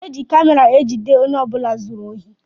Eji kamera ejide ọnye ọbula zụrụ ohi.